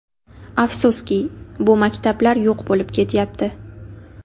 Afsuski, bu maktablar yo‘q bo‘lib ketyapti.